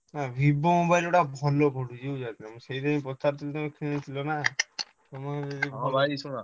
Vivo mobile ଗୁଡ଼ାକ ଭଲ ପଡ଼ୁଚି ବୁଝିପାରୁଚ ନା ମୁଁ ସେଥିପାଇଁ ପଚାରୁଥିଲି ତମେ କିଣିଥିଲ ନା ତମକୁ ।